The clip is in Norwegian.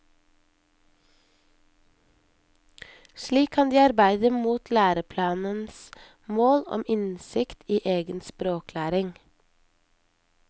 Slik kan de arbeide mot læreplanens mål om innsikt i egen språklæring.